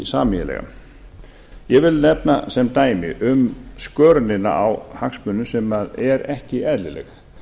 sameiginlega ég vil nefna sem dæmi um skörunina á hagsmunum sem er ekki eðlileg